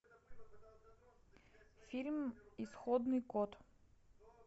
фильм исходный код